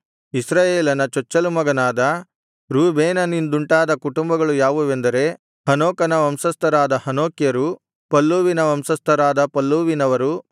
ಇಸ್ರಾಯೇಲನ ಚೊಚ್ಚಲು ಮಗನಾದ ರೂಬೇನನಿಂದುಂಟಾದ ಕುಟುಂಬಗಳು ಯಾವುವೆಂದರೆ ಹನೋಕನ ವಂಶಸ್ಥರಾದ ಹನೋಕ್ಯರು ಪಲ್ಲೂವಿನ ವಂಶಸ್ಥರಾದ ಪಲ್ಲೂವಿನವರು